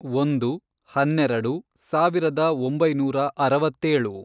ಒಂದು, ಹನ್ನೆರೆಡು, ಸಾವಿರದ ಒಂಬೈನೂರ ಅರವತ್ತೇಳು